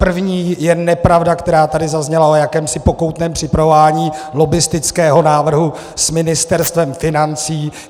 První je nepravda, která tady zazněla o jakémsi pokoutním připravování lobbistického návrhu s Ministerstvem financí.